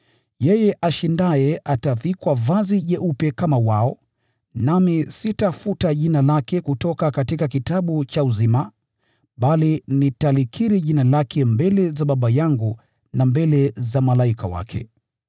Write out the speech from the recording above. Yeye ashindaye atavikwa vazi jeupe kama wao. Sitafuta jina lake kutoka kitabu cha uzima, bali nitalikiri jina lake mbele za Baba yangu na mbele za malaika wake.